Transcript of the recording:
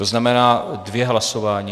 To znamená dvě hlasování.